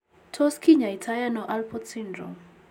Tos kinyaii too ano Alport syndrome ?